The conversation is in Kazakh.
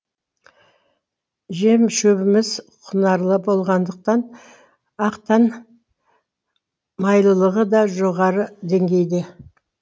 жем шөбіміз құнарлы болғандықтан ақтың майлылығы да жоғары деңгейде